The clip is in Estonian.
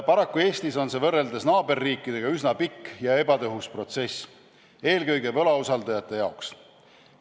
Paraku Eestis on see võrreldes naaberriikidega üsna pikk ja ebatõhus protsess, eelkõige võlausaldajate jaoks.